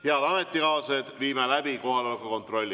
Head ametikaaslased, teeme kohaloleku kontrolli.